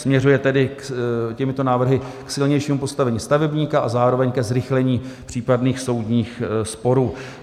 Směřuje tedy těmito návrhy k silnějšímu postavení stavebníka a zároveň ke zrychlení případných soudních sporů.